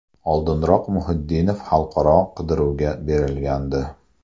Oldinroq Muhiddinov xalqaro qidiruvga berilgandi.